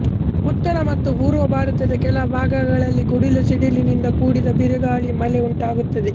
ಉತ್ತರ ಮತ್ತು ಪೂರ್ವ ಭಾರತದ ಕೆಲ ಭಾಗಗಳಲ್ಲಿ ಗುಡುಗು ಸಿಡಿಲಿನಿಂದ ಕೂಡಿದ ಬಿರುಗಾಳಿ ಮಳೆ ಉಂಟಾಗುತ್ತದೆ